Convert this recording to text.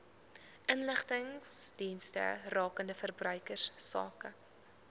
inligtingsdienste rakende verbruikersake